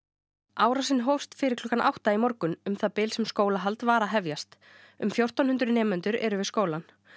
árásin hófst fyrir klukkan átta í morgun um það bil sem skólahald var að hefjast um fjórtán hundruð nemendur eru við skólann